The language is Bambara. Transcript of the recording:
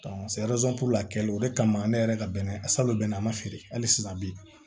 kɛli o de kama ne yɛrɛ ka bɛnɛ salo bɛnɛ ma feere hali sisan bi